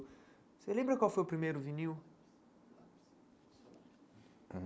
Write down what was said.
Você lembra qual foi o primeiro vinil?